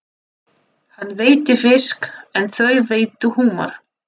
Hann veiddi fisk en þau veiddu humar.